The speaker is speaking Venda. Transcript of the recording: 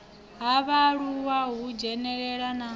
ha vhaaluwa u dzhenelela na